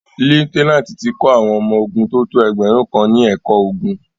Lieutẹ́nátì ti kọ́ àwọn ọmọ ogun tó tó ẹgbẹ̀rún ní ẹ̀kọ́ ogun.